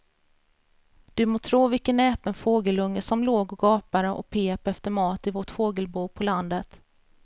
Du må tro vilken näpen fågelunge som låg och gapade och pep efter mat i vårt fågelbo på landet.